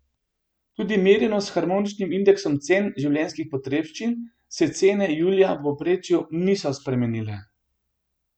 Tudi merjeno s harmoničnim indeksom cen življenjskih potrebščin se cene julija v povprečju niso spremenile.